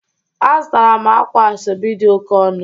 Azụtara m akwa asobi dị oke ọnụ.